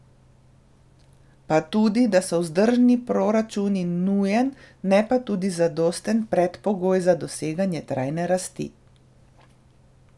Pa tudi, da so vzdržni proračuni nujen, ne pa tudi zadosten predpogoj za doseganje trajne rasti.